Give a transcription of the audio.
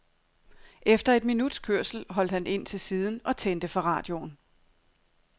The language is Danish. Efter et minuts kørsel holdt han ind til siden og tændte for radioen.